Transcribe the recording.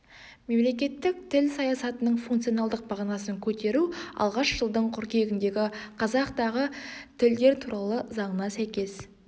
мемлекеттік тіл саясатының функционалдық мағынасын көтеру алғаш жылдың қыркүйегіндегі қазақ дағы тілдер туралы заңына сәйкес